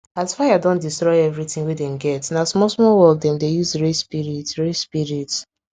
as fire don destroy everything wey dem get na small small work dem dey use raise spirit raise spirit